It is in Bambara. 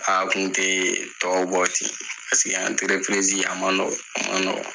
A kun te tɔw bɔ ten paseke a ma nɔgɔn, a ma nɔgɔn.